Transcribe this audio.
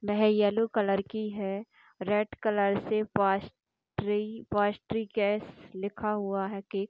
वह yellow colour की है रेड कलर से पैस्ट्री केस लिखा हुआ केक --